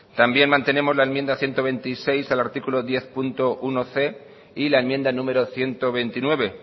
también mantenemos la enmienda ciento veintiséis al artículo diezbatc y la enmienda número ciento veintinueve